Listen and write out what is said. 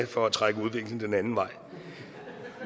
for at trække udviklingen den anden vej